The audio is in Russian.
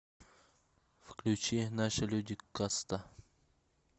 включи наши люди каста